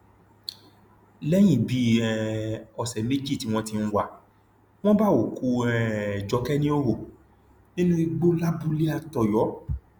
lẹyìn bíi um ọsẹ méjì tí wọn ti ń wà á wọn bá òkú um jókè níhòòhò nínú igbó lábúlé àtọyọ